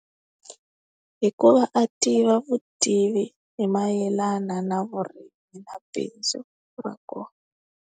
Hikuva a tiva vutivi hi mayelana na vurimi na bindzu ra kona.